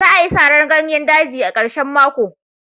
Za'a yi saran ganyer daji, a karshen mako.